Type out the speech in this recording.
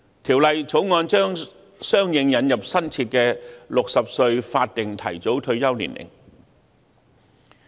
《條例草案》將相應引入新設的60歲法定提早退休年齡。